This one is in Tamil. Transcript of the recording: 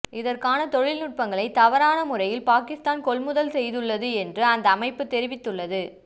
இதற்கான தொழில்நுட்பங்களை தவறான முறையில் பாகிஸ்தான் கொள்முதல் செய்துள்ளது என்று அந்த அமைப்பு தெரிவித்துள்ளது